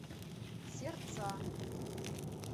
сердца